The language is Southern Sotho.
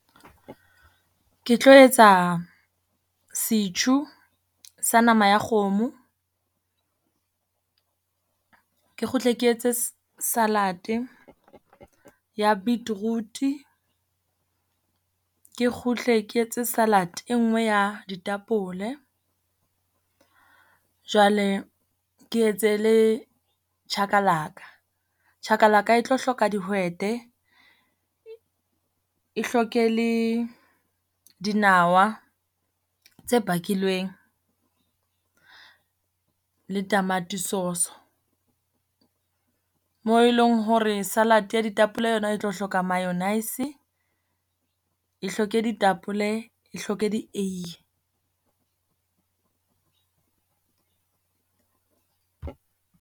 Ke tlo etsa setjhu sa nama ya kgomo. Ke kgutle ke etse salad-e ya beetroot, ke kgutle ke etse salad e nngwe ya ditapole. Jwale ke etse le chakalaka, chakalaka e tlo hloka dihwete, e hloke le dinawa tse bakilweng, le tamati sauce-o. Mo e leng hore salad ya ditapole yona, e tlo hloka mayonaise, e hloke ditapole, e hloke di-ui.